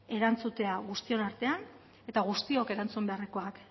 erantzutea guztion artean eta guztiok erantzun beharrekoak